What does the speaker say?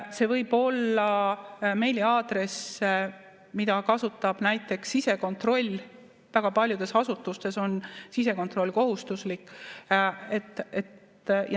See võib olla meiliaadress, mida kasutab näiteks sisekontroll, väga paljudes asutustes on sisekontroll kohustuslik.